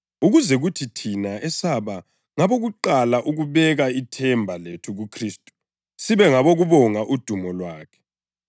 ukuze kuthi thina esaba ngabokuqala ukubeka ithemba lethu kuKhristu sibe ngabokubonga udumo lwakhe.